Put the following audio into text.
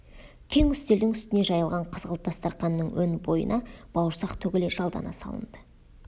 кең үстелдің үстіне жайылған қызғылт дастарқанның өн бойына бауырсақ төгіле жалдана салынды